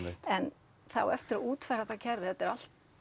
en það á eftir að útfæra það kerfi þetta er allt